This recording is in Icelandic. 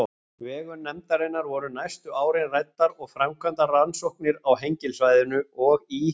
vegum nefndarinnar voru næstu árin ræddar og framkvæmdar rannsóknir á Hengilssvæðinu og í